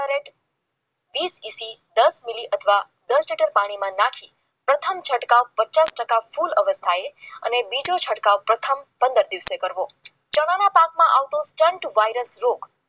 વીસ એસી અથવા દસ મિલી મીલી પાણીમાં નાખી પ્રથમ છટકાવ પચાસ ફૂલ અવસ્થાએ અને બીજો છંટકાવ પ્રથમ પંદર દિવસે કરવો ચણાના પાકમાં આવતો વાયરસ રોગ